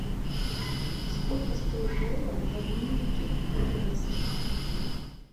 сколько стоит доллар в обменнике лиговский